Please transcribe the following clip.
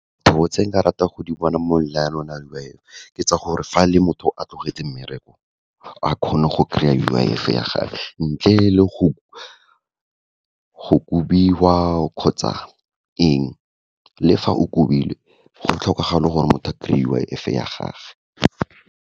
Dilo tse nka ratang go di bona mo lenaneong la U_I_F, ke tsa gore fa le motho a tlogetse mmereko, a kgone go kry-a U_I_F ya gage, ntle le go kobiwa kgotsa eng, le fa o kobilwe go tlhokega le gore motho a kry-e U_I_F ya gagwe.